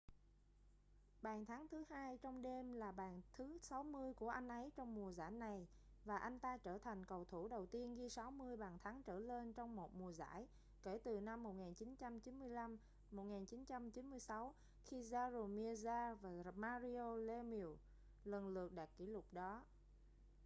bàn thắng thứ hai trong đêm là bàn thứ 60 của anh ấy trong mùa giải này và anh ta trở thành cầu thủ đầu tiên ghi 60 bàn thắng trở lên trong một mùa giải kể từ năm 1995-1996 khi jaromir jagr và mario lemieux lần lượt đạt kỷ lục đó